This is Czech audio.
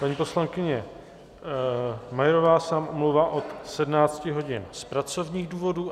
Paní poslankyně Majerová se nám omlouvá od 17 hodin z pracovních důvodů.